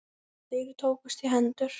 Þeir tókust í hendur.